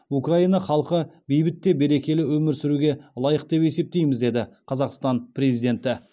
украина халқы бейбіт те берекелі өмір сүруге лайық деп есептейміз деді қазақстан президенті